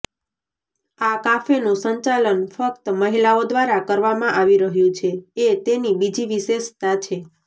આ કાફેનું સંચાલન ફક્ત મહિલાઓ દ્વારા કરવામાં આવી રહ્યું છે એ તેની બીજી વિશેષતા છે